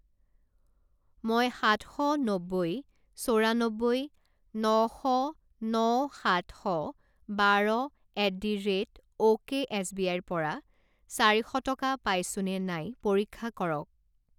মই সাত শ নব্বৈ চৌৰান্নব্বৈ ন শ ন সাত শ বাৰ এট দি ৰে'ট অ'কে এছবিআইৰ পৰা চাৰি শ টকা পাইছোঁনে নাই পৰীক্ষা কৰক।